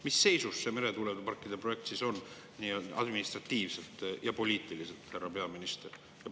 Mis seisus see meretuuleparkide projekt administratiivselt ja poliitiliselt on, härra peaminister?